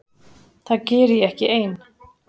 Það geri ég ekki ein.